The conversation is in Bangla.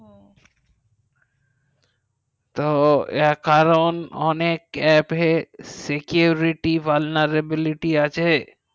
তো কারণ অনেক aap এ security পালনের availity আছে